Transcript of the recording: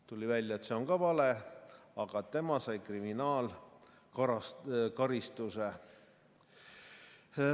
Tuli välja, et see on ka vale, aga tema sai kriminaalkaristuse.